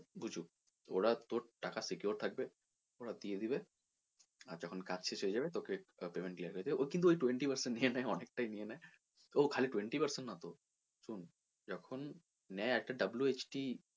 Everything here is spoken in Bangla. বুঝুক তোর টাকা secure থাকবে ওরা দিয়ে দিবে আর যখন কাজ শেষ হয়ে যাবে তোকে payment clear করে দেবে ওই কিন্তু ওই twenty percent নিয়ে নেয় অনেক টাই নিয়ে নেয় ও খালি twenty percent নয় তো শুন যখন নেয় একটা WHT